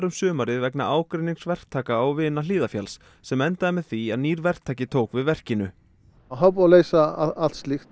sumarið vegna ágreinings verktaka og vina Hlíðarfjalls sem endaði með því að nýr verktaki tók við verkinu það er búið að leysa allt slíkt